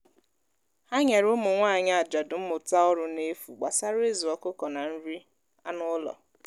ha nyere ụmụnwaanyi ajadu mmụta ọrụ n'efu gbasara ịzụ ọkụkọ na nri ánụ́ ụlọ